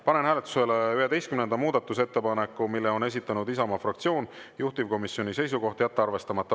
Panen hääletusele 11. muudatusettepaneku, mille on esitanud Isamaa fraktsioon, juhtivkomisjoni seisukoht on jätta arvestamata.